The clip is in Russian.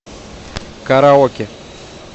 караоке